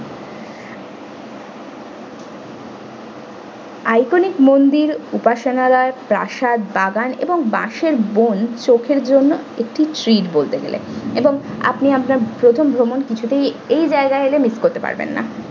iconic মন্দির উপাসনালয় প্রাসাদ বাগান এবং বাঁশের বন চোখের জন্য একটি treat বলতে গেলে এবং আপনি আপনার প্রথম ভ্রমণ কিছুতেই এই জায়গায় এলে miss করতে পারবেননা।